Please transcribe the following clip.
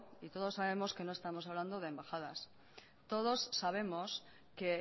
y todos sabemos que no estamos hablando de embajadas todos sabemos que